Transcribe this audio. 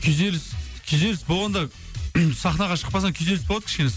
күйзеліс күйзеліс болғанда сахнаға шықпасаң күйзеліс болады кішкене